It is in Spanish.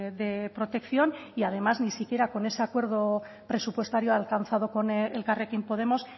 de protección y además ni siquiera con ese acuerdo presupuestario alcanzado con elkarrekin podemos